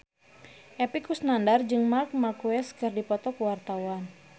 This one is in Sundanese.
Epy Kusnandar jeung Marc Marquez keur dipoto ku wartawan